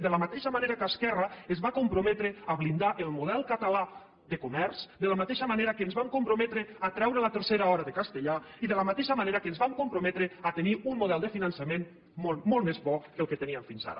de la mateixa manera que esquerra es va comprometre a blindar el model català de comerç de la mateixa manera que ens vam comprometre a treure la tercera hora de castellà i de la mateixa manera que ens vam comprometre a tenir un model de finançament molt més bo del que teníem fins ara